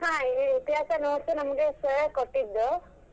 ಹಾ ಇತಿಹಾಸ notes ನಮ್ಗೆ sir ಕೊಟ್ಟಿದ್ರು.